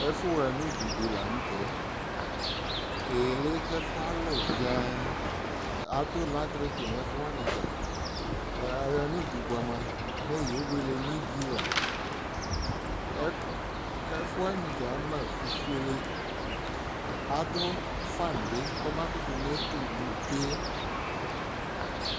Ɛfʋɣanududɩ la nʋtɛ: ɩɣɩlɩ k'ɛfʋ alʋ zɩaŋ; adʋ latriki n'ɛfʋwanɩ dza, aɣa nudu bʋa mʋa, mɛ yewele n'ivi la Ɛ ɛfʋwanɩ dza ama fufuele Adʋ fan bɩ k'ɔma kʋtʋ netulu tsue yɛ